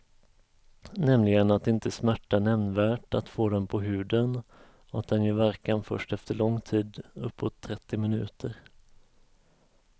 Nämligen att det inte smärtar nämnvärt att få den på huden och att den gör verkan först efter lång tid, uppåt trettio minuter.